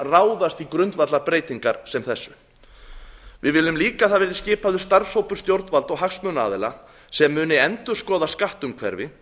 ráðast í grundvallarbreytingar sem þessar við viljum líka að skipaður verði starfshópur stjórnvalda og hagsmunaaðila sem munu endurskoða skattumhverfi